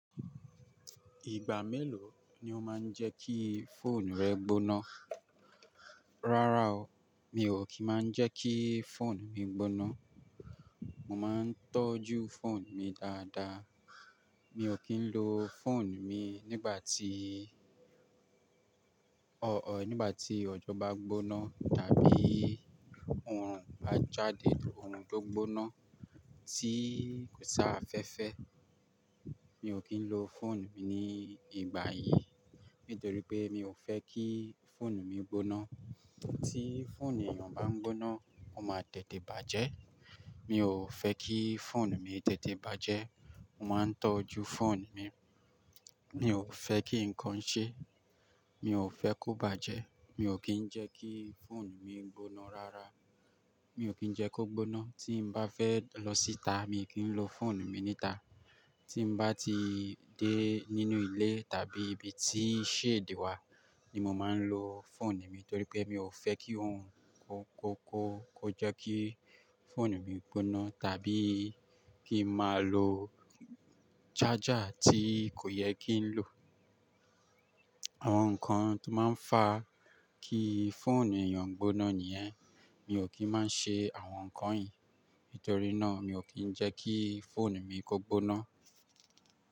Ìgbà mélòó ni ó máa ń jẹ́ kí fóònù rẹ gbóná? Rárá o, mi ò kí ń máa ń jẹ́ kí fóònù mi gbóná. Mo máa ń tọ́jú fóònù mi dáadáa. Mi ò kí ń lo fóònù mi nígbà tí-- ọ̀ọ́, nígbà tí òjò bá gbóná tàbí oòrùn bá jáde, oòrùn tó gbóná tí kò si afẹ́fẹ́. Mi ò kí ń lo fóònù mi ní ìgbà yìí, nítorí pé mi ò fẹ́ kí fóònù mi gbóná. Tí fóònù èèyàn bá gbóná, ó máa tètè bàjẹ́. Mi ò fẹ́ kí fóònù mi tètè bàjẹ́. Mo máa ń tọ́jú fóònù mi. Mi ò fẹ́ kí nkan ṣe, mi ò fẹ́ kó bàjẹ́. Mi ò kí ń jẹ́ kí fóònù mi gbóná rárá. Mi ò kí ń jẹ́ kó gbóná. Tí n bá fẹ́ lọ síta, mii kí ń lo fóònù mi níta. Tí n bá ti dé nínú ilé tàbí ibi tí shade wa ni mo máa ń lo fóònù mi, torí pé mi ò fẹ́ kí ohun kó, kó, kó jẹ́ kí fóònù mi gbóná tàbí kí n máa lo charger tí kò yẹ kí n lo. Àwọn nkan tó máa ń fa kí fóònù èèyàn gbóná nìyẹn. Mi ò kí máa ń ṣe àwọn nkan yìí, nítorí náà mi ò kí ń jẹ́ kí fóònù mi kó gbóná.